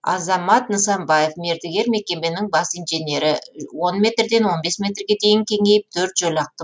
азамат нысанбаев мердігер мекеменің бас инженері он метрден он бес метрге дейін кеңейіп төрт жолақты